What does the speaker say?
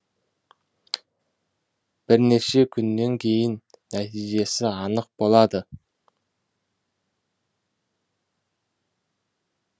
бірнеше күннен кейін нәтижесі анық болады